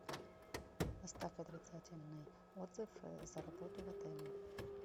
оставь отрицательный отзыв за работу в отеле